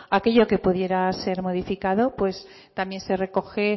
aquello que pudiera ser modificado pues también se recoge